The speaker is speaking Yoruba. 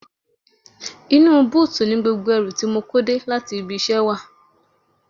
Inú búùtì ni gbogbo ẹrù tí mo kó dé láti ibi iṣẹ́ wà